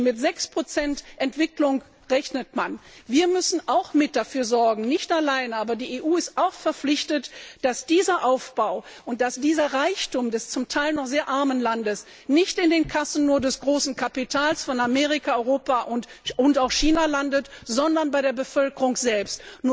Man rechnet mit sechs Prozent Entwicklung. Wir müssen auch mit dafür sorgen nicht alleine, aber die EU ist auch in der Pflicht dass dieser Aufbau und dieser Reichtum des zum Teil noch sehr armen Landes nicht nur in den Kassen des großen Kapitals von Amerika, Europa und auch China landet, sondern bei der Bevölkerung selbst.